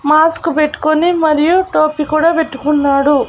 Mask పెట్టుకోని మరియు టోపీ కూడా పెట్టుకున్నాడు.